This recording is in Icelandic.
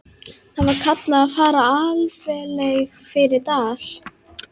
Þar var kallað að fara alfaraleið fyrir dal.